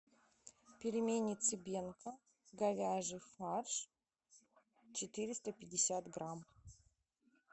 пельмени цыбенко говяжий фарш четыреста пятьдесят грамм